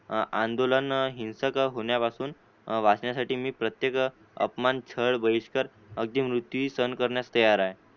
आंदोलन हिंसक होण्यापासून वाचण्यासाठी मी प्रत्येक अपमान छळ बहिष्कार अगदी मृत्यू सहन करण्यास तयार आहे